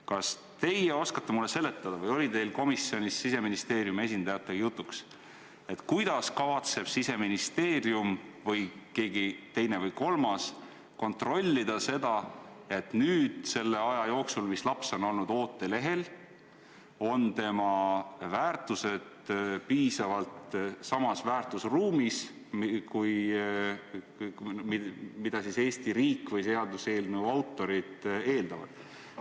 Kas teie oskate mulle seletada või oli teil komisjonis Siseministeeriumi esindajatega jutuks, kuidas kavatseb Siseministeerium või keegi teine või kolmas kontrollida seda, et selle aja jooksul, mis laps on olnud ootelehel, on tema väärtushinnangud piisavalt samas väärtusruumis, mida Eesti riik või seaduseelnõu autorid eeldavad?